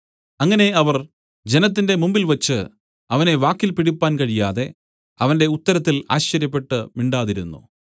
അങ്ങനെ അവർ ജനത്തിന്റെ മുമ്പിൽവെച്ച് അവനെ വാക്കിൽ പിടിപ്പാൻ കഴിയാതെ അവന്റെ ഉത്തരത്തിൽ ആശ്ചര്യപ്പെട്ടു മിണ്ടാതിരുന്നു